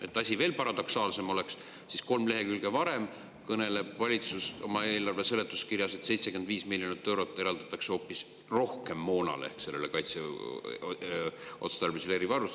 Et asi veel paradoksaalsem oleks: kolm lehekülge varem kõneleb valitsus oma eelarve seletuskirjas, et eraldatakse hoopis 75 miljonit rohkem moonale ehk kaitseotstarbelisele erivarustusele ...